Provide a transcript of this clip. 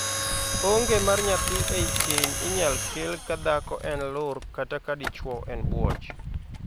Onge mar nyathi ei keny inyal kel ka dhako en lur kata ka dichwo en buoch.